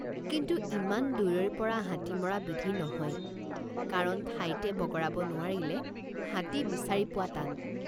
কিন্তু ইমান দূৰৈৰপৰা হাতী মৰা বিধি নহয়কাৰণ ঠাইতে বগৰাব নোৱাৰিলে হাতী বিচাৰি পোৱা টান।